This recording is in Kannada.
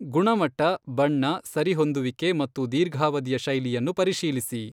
ಗುಣಮಟ್ಟ, ಬಣ್ಣ, ಸರಿಹೊಂದುವಿಕೆ ಮತ್ತು ದೀರ್ಘಾವಧಿಯ ಶೈಲಿಯನ್ನು ಪರಿಶೀಲಿಸಿ.